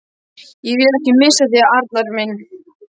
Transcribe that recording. Ég vil ekki missa þig, Arnar minn.